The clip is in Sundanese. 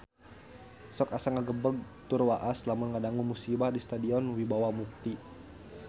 Sok asa ngagebeg tur waas lamun ngadangu musibah di Stadion Wibawa Mukti